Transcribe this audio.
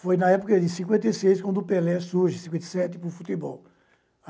Foi na época de cinquenta e seis quando o Pelé surge, em cinquenta e sete, para o futebol.